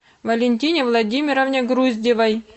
валентине владимировне груздевой